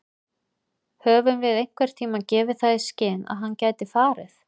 Höfum við einhverntímann gefið það í skyn að hann gæti farið?